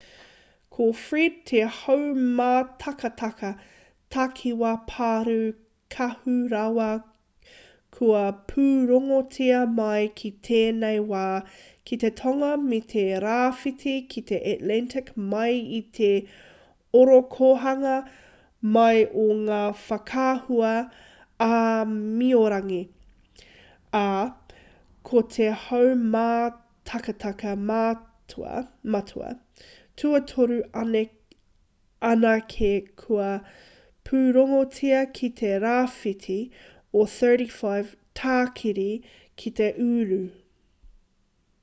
ko fred te haumātakataka takiwā pārū kaha rawa kua pūrongotia mai ki tēnei wā ki te tonga me te rāwhiti ki te atlantic mai i te ōrokohanga mai o ngā whakaahua āmiorangi ā ko te haumātakataka matua tuatoru anake kua pūrongotia ki te rāwhiti o 35 tākiri ki te uru